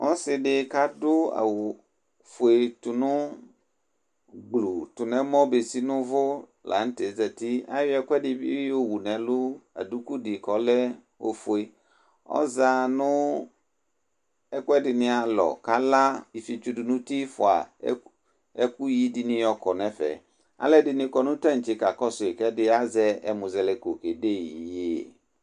Ɔsɩ dɩ kʋ adu awufuegblu tu nʋ ɛmɔ bezi nʋ uvu la nʋ tɛ zǝti Ayɔ ɛkʋɛdɩ bɩ yowu nʋ ɛlʋ, aduku dɩ kʋ ɔlɛ ofue Ɔza nʋ ɛkʋɛdɩnɩ alɔ, kʋ ala ifiotso dʋ nʋ uti, fua ɛkʋyɩ dɩnɩ yɔkɔ nʋ ɛfɛ Alu ɛdɩnɩ bɩ kɔ nʋ taŋtse kakɔsʋ yɩ, kʋ azɛ ɛmʋzɛlɛko kedeyɩ iyeye